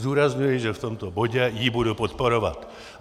Zdůrazňuji, že v tomto bodě ji budu podporovat.